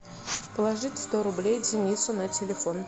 положить сто рублей денису на телефон